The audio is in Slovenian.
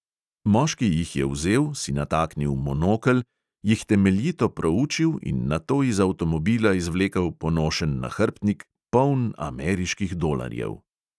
Moški jih je vzel, si nataknil monokel, jih temeljito proučil in nato iz avtomobila izvlekel ponošen nahrbtnik, poln ameriških dolarjev.